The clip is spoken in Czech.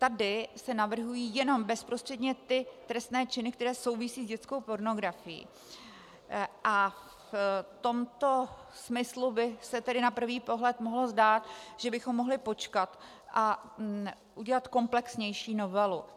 Tady se navrhují jenom bezprostředně ty trestné činy, které souvisí s dětskou pornografií, a v tomto smyslu by se tedy na prvý pohled mohlo zdát, že bychom mohli počkat a udělat komplexnější novelu.